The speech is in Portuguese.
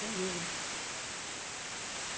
Sem dúvida.